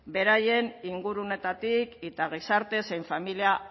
beraien inguruetatik eta gizarte zein familia